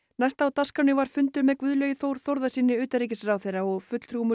næst á dagskránni var fundur með Guðlaugi Þór Þórðarsyni utanríkisráðherra og fulltrúum úr